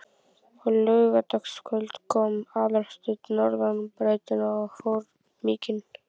Á laugardagskvöldum kom Aðalsteinn norðan brautina og fór mikinn.